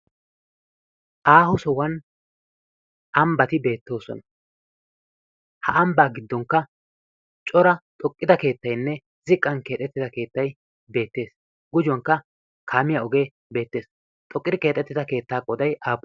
aahu sohuwan ambbati beettoosona ha ambbaa giddonkka cora xoqqida keettainne ziqqan keexettida keettay beettees gujuwankka kaamiya ogee beettees xoqqidi keexettida keettaa qooday